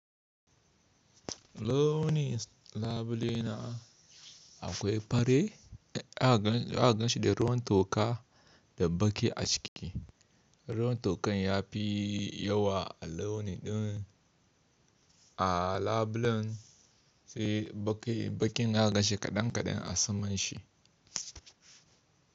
Launi labule na akwai fari za ganshi da ruwan toka da baki a ciki. Ruwan tokan ya fi yawa a launi ɗin a labulen sai bakin ya ganshi kaɗan kaɗan a saman shi.